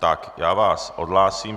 Tak já vás odhlásím.